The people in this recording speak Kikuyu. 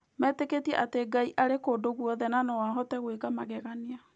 Metĩkĩtie atĩ Ngai arĩ kũndũ guothe na atĩ no ahote gwĩka magegania.